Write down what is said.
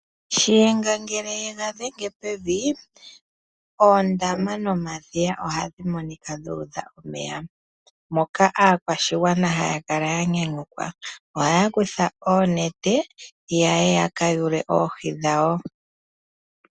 Shiyenga ngele yega dhenge pevi oondama nomadhiya ohadhi monika dha udha omeya. Moka aakwashigwana haya kala ya nyanyukilwa. Ohaya kutha oonete yaye ya ka yuule oohi dhawo.